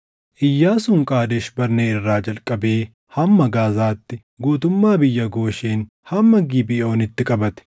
Iyyaasuun Qaadesh Barnee irraa jalqabee hamma Gaazaatti, guutummaa biyya Gooshen hamma Gibeʼoonitti qabate.